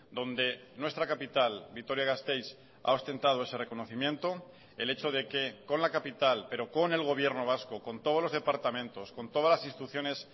donde nuestra capital vitoria gasteiz ha ostentado ese reconocimiento el hecho de que con la capital pero con el gobierno vasco con todos los departamentos con todas las instituciones